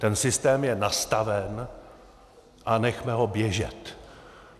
Ten systém je nastaven a nechme ho běžet.